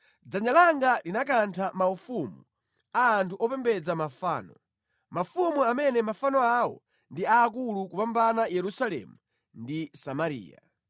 Dzanja langa linakantha maufumu a anthu opembedza mafano, mafumu amene mafano awo ndi aakulu kupambana Yerusalemu ndi Samariya;